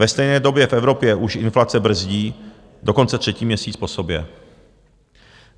Ve stejné době v Evropě už inflace brzdí dokonce třetí měsíc po sobě.